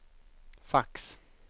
fax